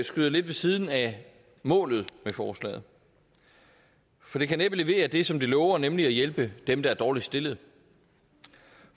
skyder lidt ved siden af målet med forslaget for det kan næppe levere det som det lover nemlig at hjælpe dem der er dårligst stillet